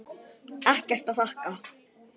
Ekkert að þakka.